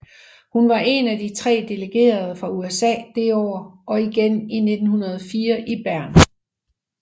Hun var en af de tre delegerede fra USA det år og igen i 1904 i Bern